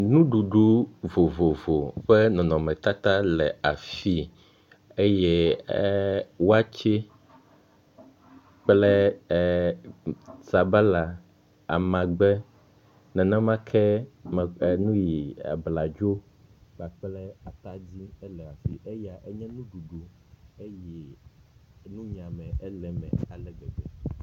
Nuɖuɖu vovovo ƒe nɔnɔmetata le afi eye waakye kpe eer sabala, amagbe, nenema ke enyi ie abladzo kpakple atadi le afi eya enye nuɖuɖu eye nunyiame ele me ale gbegbe.